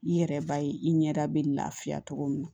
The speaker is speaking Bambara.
I yɛrɛ b'a ye i ɲɛda bɛ lafiya cogo min na